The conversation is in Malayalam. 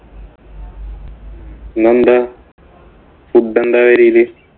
ഇന്നെന്താ? food എന്താ പെരേല്?